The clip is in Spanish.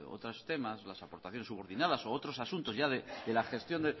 otros temas las aportaciones subordinadas u otros asuntos de la gestión